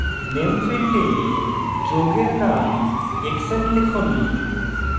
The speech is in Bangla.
name ফীল্ডে যৌগের name hexane লিখুন